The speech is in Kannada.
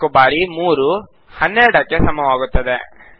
4 ಬಾರಿ 3 12 ಕ್ಕೆ ಸಮಾನವಾಗುತ್ತದೆ